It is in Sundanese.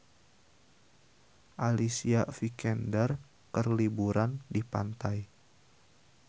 Alicia Vikander keur liburan di pantai